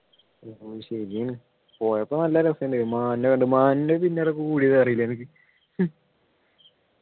ഉം ശരിയാണ് പോയപ്പോൾ നല്ല രസമുണ്ടായിരുന്നു മാനിനെ കണ്ടു മാനിനെ പിന്നാലെ കൂടിയത് അറിയില്ലേ നിനക്ക്